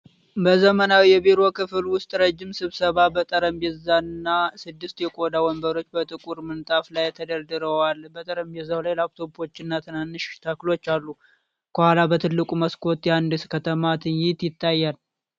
በዘመናዊ የቢሮ ክፍል ውስጥ ረዥም ስብሰባ ጠረጴዛና ስድስት የቆዳ ወንበሮች በጥቁር ምንጣፍ ላይ ተደርድረዋል። በጠረጴዛው ላይ ላፕቶፖችና ትናንሽ ተክሎች አሉ። ከኋላ በትልቁ መስኮት የአንድ ከተማ ትዕይንት ይታያል።